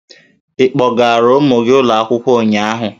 Ị kpọgaara ụmụ gị ụlọ akwụkwọ ụnyahụ?